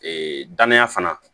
Ee dananya fana